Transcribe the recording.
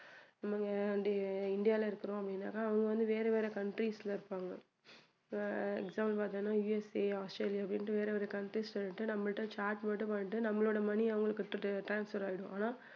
நம்ம இங்க இந்தியா~இந்தியால இருக்குறோம் அப்டின்னாக்கா அவங்க வந்து வேற வேற countries ல இருப்பாங்க இப்போ example பார்தோம்னா யூஎஸ்ஏ, ஆஸ்திரேலியா அப்படின்னு வேற வேற countries ல இருந்துட்டு நம்மள்ட charge மட்டும் பண்ணிட்டு நம்மளோட money அ அவங்களுக்கு கொடுத்துட்டு transfer ஆயிடும்.